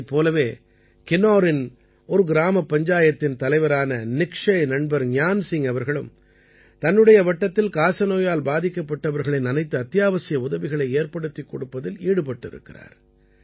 இதைப் போலவே கின்னௌரின் ஒரு கிராமப் பஞ்சாயத்தின் தலைவரான நிக்ஷய் நண்பர் ஞான் சிங் அவர்களும் தனது வட்டத்தில் காசநோயால் பாதிக்கப்பட்டவர்களின் அனைத்து அத்தியாவசிய உதவிகளை ஏற்படுத்திக் கொடுப்பதில் ஈடுபட்டிருக்கிறார்